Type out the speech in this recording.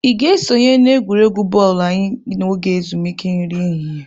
Ị ga-esonye n'egwuregwu bọọlụ anyị n'oge ezumike nri ehihie?